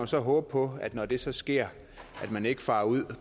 så håbe på når det så sker at man ikke farer ud